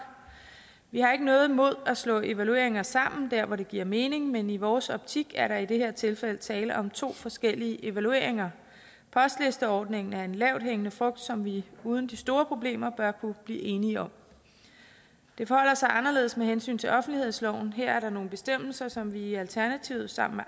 vi har ikke noget imod at slå evalueringer sammen der hvor det giver mening men i vores optik er der i det her tilfælde tale om to forskellige evalueringer postlisteordningen er en lavthængende frugt som vi uden de store problemer bør kunne blive enige om det forholder sig anderledes med hensyn til offentlighedsloven her er der nogle bestemmelser som vi i alternativet sammen